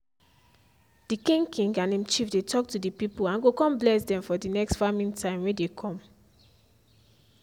the king king and im chief dey talk to the people and go con bless dem for the next farming time wey dey come.